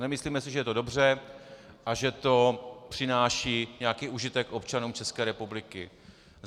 Nemyslíme si, že je to dobře a že to přináší nějaký užitek občanům České republiky.